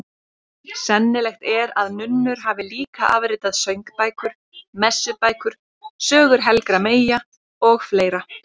Sennilegt er að nunnur hafi líka afritað söngbækur, messubækur, sögur helgra meyja og fleira.